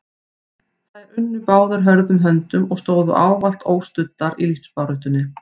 Þær unnu báðar hörðum höndum og stóðu ávallt óstuddar í lífsbaráttunni.